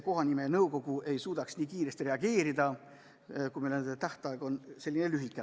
Kohanimenõukogu ei suudaks piisavalt kiiresti reageerida, kui meil on tähtaeg nii lühikene.